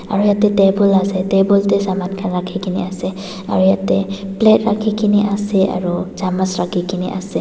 aro yatae table la side te table tae saman khan rakhikaena ase aro yatae plate rakhikena ase aro chamus rakhike na ase.